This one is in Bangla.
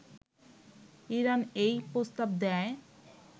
ইরান এই প্রস্তাব দেয়